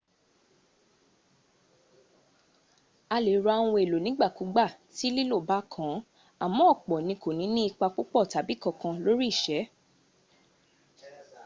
a lè ra ohun èlò nígbàkúgbà tí lílò bá kàn án àmọ́ ọ̀pọ̀ ní kò ní ní ipa púpò tàbí kankan lóri ìsé